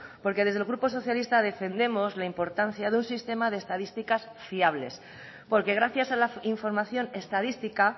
porque desde el grupo socialista defendemos la importancia de un sistema de estadísticas fiables porque gracias a la información estadística